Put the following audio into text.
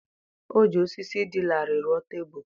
O ji osisi dị larịị rụọ tebụl.